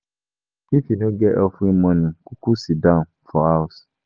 If you no get offering moni, kuku sidon for house